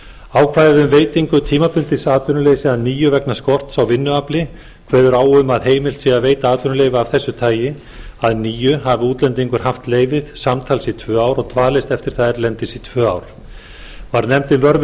ákvæði um veitingu tímabundins atvinnuleyfis að nýju vegna skorts á vinnuafli kveður á um að heimilt sé að veita atvinnuleyfi af þessu tagi að nýju hafi útlendingur haft leyfið samtals í tvö ár og dvalist eftir það erlendis í tvö ár varð nefndin vör